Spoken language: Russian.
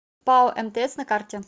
пао мтс на карте